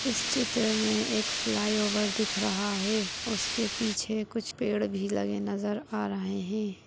इस चित्र मे एक फ्लाइओवर दिख रहा है उसके पीछे कुछ पेड़ भी लगे नजर आ रहें हैं।